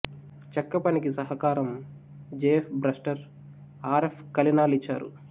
చెక్క పనికి సహకారం జెఎఫ్ బ్రస్టర్ ఆర్ఎఫ్ కలెనాల్ ఇచ్చారు